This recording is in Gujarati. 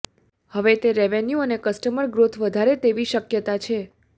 હવે તે રેવન્યુ અને કસ્ટમર ગ્રોથ વધારે તેવી શક્યતા છે